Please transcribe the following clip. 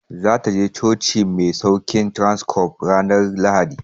Za ta je cocin masaukin Transcorp ranar Lahadi.